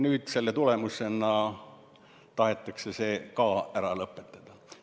Nüüd, selle kõige tulemusena, tahetakse see ära lõpetada.